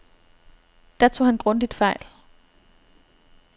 Der tog han grundigt fejl.